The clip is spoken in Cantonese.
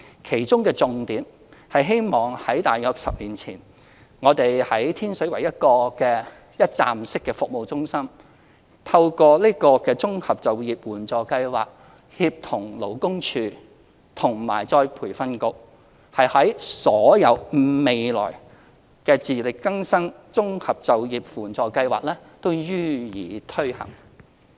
其中的重點是希望——在大約10年前，我們在天水圍一個一站式服務中心，透過自力更生綜合就業援助計劃協同勞工處與僱員再培訓局提供服務，我們的重點是希望未來所有自力更生綜合就業援助計劃都會予以推行。